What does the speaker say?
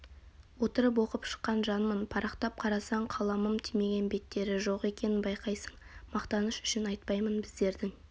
отырып оқып шыққан жанмын парақтап қарасаң қаламым тимеген беттері жоқ екенін байқайсың мақтаныш үшін айтпаймын біздердің